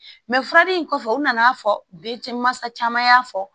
Mɛ fura in kɔfɛ u nana fɔ bɛ cɛ mansa caman y'a fɔ